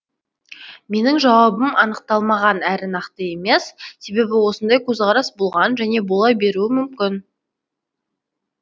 менің жауабым анықталмаған әрі нақты емес себебі осындай көзқарас болған және бола беруі мүмкін